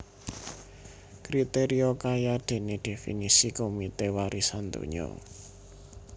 Kriteria kayadéné definisi Komite Warisan Donya